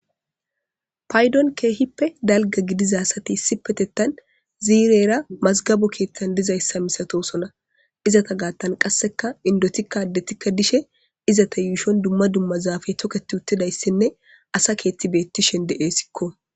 Payddon keehippe dalgga gidiza asati issipetettan ziirera mazgabo keetan dizayssa masatoosona izeta gaatan qasseka indotika addetika dishe izeta yuushon dumma dumma zaafe toketi uttidayssine asa keeththi beettishe de'esiko.